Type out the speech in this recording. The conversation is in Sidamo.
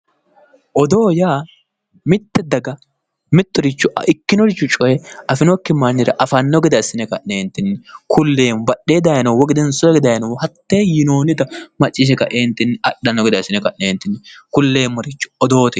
Odoo yaa mitte daga mittoricho ikkinoricho coye afanokki mannira afanno gede assine ka'neentinni kulleemmo. Badhee dayinohu woy gedensoo hige dayinohu macciishshe kae adhanno gede assine ka'neenti kulleemmota hatte odoote yinanni.